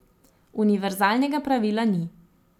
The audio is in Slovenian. Univerzalnega pravila ni.